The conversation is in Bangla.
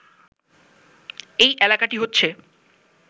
এই এলাকাটি হচ্ছে